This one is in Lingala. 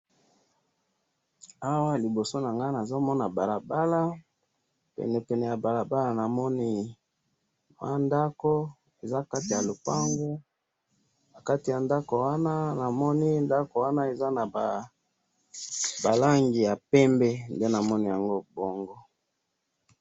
awa liboso nanga nazomona balabala penepene ya balabala namoni mwa ndako eza nakati ya lopango ,nakati ya ndaku wana namoni ndaku wana eza naba langi ya pembe nde namoni yango bongo.